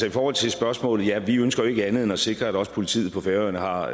i forhold til spørgsmålet ja vi ønsker jo ikke andet end at sikre at også politiet på færøerne har